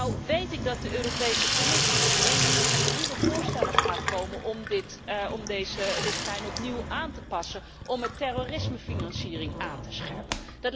Nu weet ik dat de Europese Commissie op 1 juni met nieuwe voorstellen gaat komen om deze richtlijn opnieuw aan te passen om de terrorismefinanciering aan te scherpen.